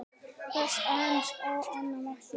Blés aðeins á annað markið.